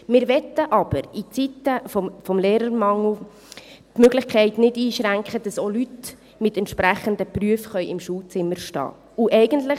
Wir möchten aber in Zeiten des Lehrermangels die Möglichkeit nicht einschränken, dass auch Personen mit entsprechenden Berufen im Schulzimmer stehen können.